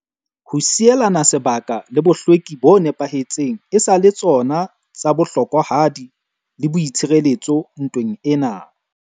Ho sielana sebaka le bohlweki bo nepahetseng e sa le tsona tsa bohlokwahadi le boitshireletso ntweng ena.